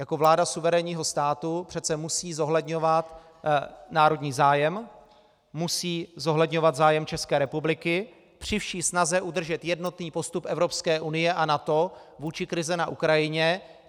Jako vláda suverénního státu přece musí zohledňovat národní zájem, musí zohledňovat zájem České republiky při vší snaze udržet jednotný postup Evropské unie a NATO vůči krizi na Ukrajině.